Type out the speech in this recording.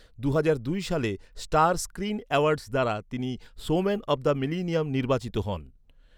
দুহাজার দুই সালে স্টার স্ক্রিন অ্যাওয়ার্ডস দ্বারা তিনি 'শোম্যান অফ দ্য মিলেনিয়াম' নির্বাচিত হন।